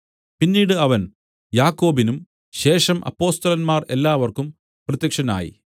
പിന്നീട് അവൻ യാക്കോബിനും ശേഷം അപ്പൊസ്തലന്മാർ എല്ലാവർക്കും പ്രത്യക്ഷനായി